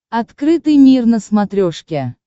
открытый мир на смотрешке